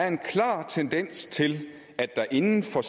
en klar tendens til at der inden for